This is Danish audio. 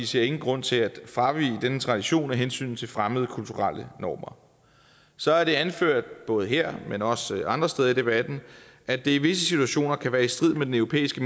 ser ingen grund til at fravige denne tradition af hensyn til fremmede kulturelle normer så er det anført både her men også andre steder i debatten at det i visse situationer kan være i strid med den europæiske